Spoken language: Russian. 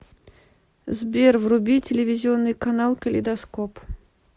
сбер вруби телевизионный канал калейдоскоп